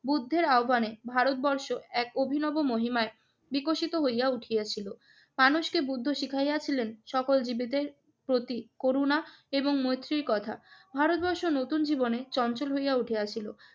বুদ্ধের আহবানে ভারতবর্ষ এক অভিনব মহিমায় বিকশিত হইয়া উঠিয়াছিল। মানুষকে বুদ্ধ শিখাইয়াছিলেন সকল জীবেদের প্রতি করুণা এবং মৈত্রীর কথা। ভারতবর্ষ নতুন জীবনে চঞ্চল হইয়া উঠিয়াছিল।